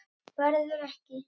Verður ekki.